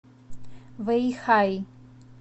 вэйхай